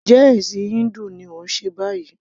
Njẹ́ ẹ̀ṣìn híńdù ni òun ṣe báyìí?